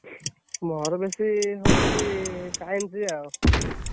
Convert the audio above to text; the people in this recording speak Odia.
ମୋର ବେଶୀ ହଉଛି Science ଆଉ।